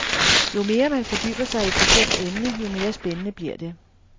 Jo mere man fordyber sig i et bestemt emne, jo mere spændende bliver det.